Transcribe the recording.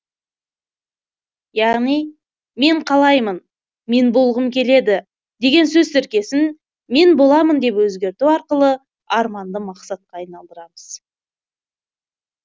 яғни мен қалаймын мен болғым келеді деген сөз тіркесін мен боламын деп өзгерту арқылы арманды мақсатқа айналдырамыз